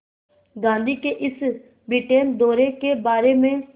गांधी के इस ब्रिटेन दौरे के बारे में